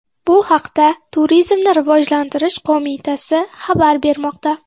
Bu haqda Turizmni rivojlantirish qo‘mitasi xabar bermoqda .